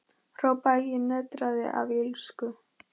hrópaði ég og nötraði af illsku.